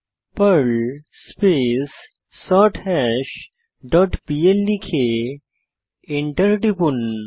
pearl space সর্থাশ dot PL লিখে enter টিপুন